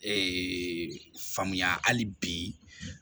faamuya hali bi